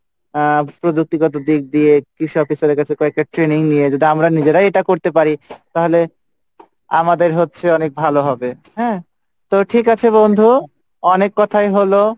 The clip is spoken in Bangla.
আহ প্রজুক্তি গত দিয়ে কৃষি খাদের কাছে একটা training আমরা যদি নিজেরা করতে পারি তাহলে আমি হচ্ছে অনেক ঠিক আছে বন্ধু অনেক কথাই হলো